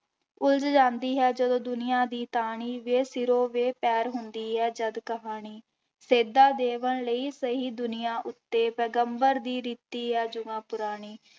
ਉਲਝ ਜਾਂਦੀ ਹੈ ਜਦੋਂ ਦੁਨੀਆਂ ਦੀ ਟਾਹਣੀ ਬੇ ਸਿਰੋਂ ਬੇ ਪੈਰ ਹੁੰਦੀ ਹੈ ਜਦ ਕਹਾਣੀ, ਸੇਧਾਂ ਦੇਵਣ ਲਈ ਸਹੀ ਦੁਨੀਆਂ ਉੱਤੇ ਪੈਗੰਬਰ ਦੀ ਰੀਤੀ ਹੈ ਜੁਗਾਂ ਪੁਰਾਣੀ।